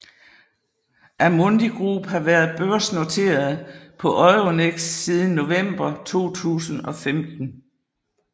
Amundi Group har været børsnoteret på Euronext siden november 2015